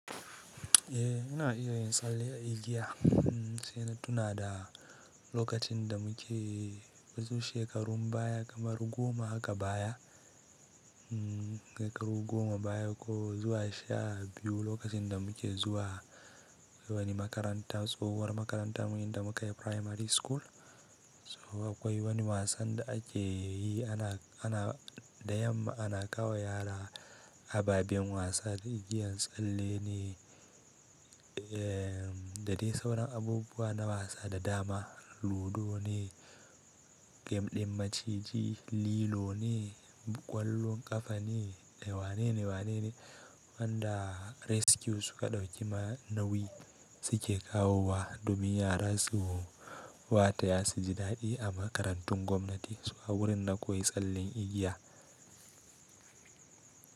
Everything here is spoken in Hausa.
Eh, ina iya yin tsalle a igiya. Sai na tuna da lokacin da muke shekarun baya kamar goma haka baya, shekaru goma baya ko zuwa sha biyu lokacin da muke zuwa wani makaranta tsohuwar makarantar mu inda muka yi primary school. To akwai wani wasan da ake yi ana, ana da yamma ana kawo wa yara ababen wasa da igiyan tsalle ne. Da dai sauran abubuwa na wasa da dama ludo ne, gem ɗin maciji, lilo ne, ƙwallon ƙafa ne, da wanene wanene wanda rescue suka ɗauki ma nauyi suke kawo wa domin yara su wataya su ji daɗi a makarantun gwamnati, to a gurin na koyi tsallen igiya.